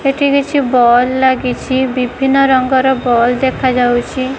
ଏଠି କିଛି ବଲ ଲାଗିଛି ବିଭିନ୍ନ ରଙ୍ଗର ବଲ ଦେଖାଯାଉଚି ।